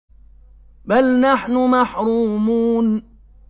بَلْ نَحْنُ مَحْرُومُونَ